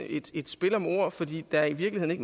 et spil om ord fordi der i virkeligheden